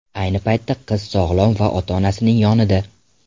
Ayni paytda qiz sog‘lom va ota-onasining yonida.